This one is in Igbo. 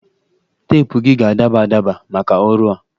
Teepụ gị ga-adaba adaba maka ọrụ a